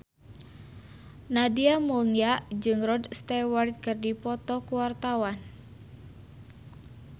Nadia Mulya jeung Rod Stewart keur dipoto ku wartawan